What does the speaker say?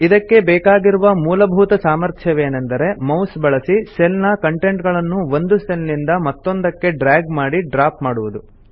ಇದಕ್ಕೆ ಬೇಕಾಗಿರುವ ಮೂಲಭೂತ ಸಾಮರ್ಥ್ಯವೇನೆಂದರೆ ಮೌಸ್ ಬಳಸಿ ಸೆಲ್ ನ ಕಂಟೆಂಟ್ ಗಳನ್ನು ಒಂದು ಸೆಲ್ ನಿಂದ ಮತ್ತೊಂದಕ್ಕೆ ಡ್ರ್ಯಾಗ್ ಮಾಡಿ ಡ್ರಾಪ್ ಮಾಡುವುದು